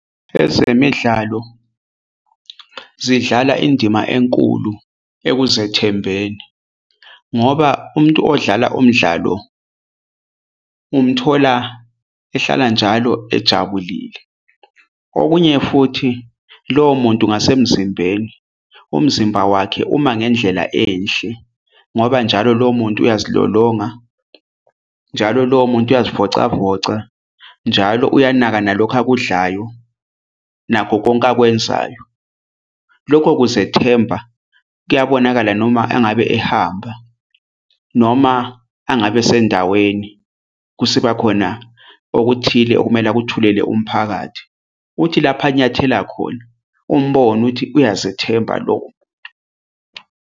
Ezemidlalo zidlala indima enkulu ekuzethembeni ngoba umuntu odlala umdlalo umthola ehlala njalo ejabulile. Okunye futhi lowo muntu ngasemzimbeni umzimba wakhe uma ngendlela enhle ngoba njalo lowo muntu uyazilolonga, njalo lowo muntu uzivocavoca, njalo uyanaka nalokhu akudlayo nakho konke akwenzayo. Lokho kuzethemba kuyabonakala noma engabe ehamba noma angabe esendaweni kusibakhona okuthile okumele akuthulele umphakathi. Uthi lapha anyathela khona umbone ukuthi uyazethemba lo.